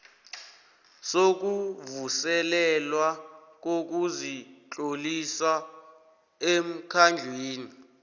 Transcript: sokuvuselelwa kokuzitlolisa emkhandlwini